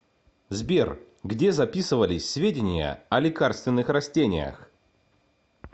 сбер где записывались сведения о лекарственных растениях